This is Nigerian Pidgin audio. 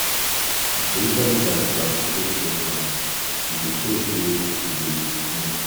Some spiritual leaders go appreciate questions; e dey show say you you dey think.